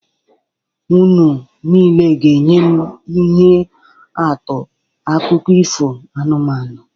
Unu niile ga-enye m ihe atụ akụkọ ifo anụmanụ